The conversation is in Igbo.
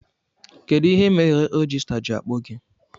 Kedụ ihe mere rejistra ji akpọ gị?